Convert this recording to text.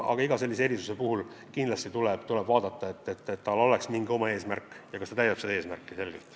Iga erisuse taotlemise puhul kindlasti tuleb analüüsida, kas sel on hea eesmärk ja kas erisuse võimaldamine täidab seda eesmärki selgelt.